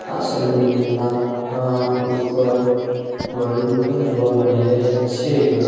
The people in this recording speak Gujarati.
આ સલુન ના અહ ઉપર બલૂન પણ જોવા મળી રહ્યા છે.